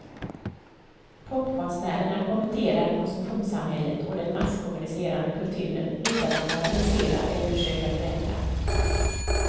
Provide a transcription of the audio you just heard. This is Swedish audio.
Popkonstnärerna kommenterar konsumtionssamhället och den masskommunicerande kulturen utan att moralisera eller försöka förändra.